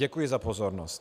Děkuji za pozornost.